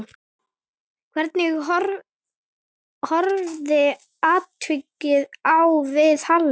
Hvernig horfði atvikið við Halli?